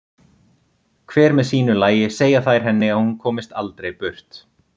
Hver með sínu lagi segja þær henni að hún komist aldrei burt.